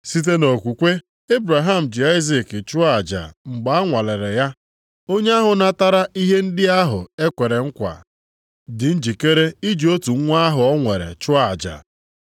Site nʼokwukwe Ebraham ji Aịzik chụọ aja mgbe a nwalere ya. Onye ahụ natara ihe ndị ahụ e kwere nkwa, dị njikere iji otu nwa ahụ o nwere chụọ aja,